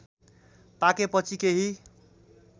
पाकेपछि केही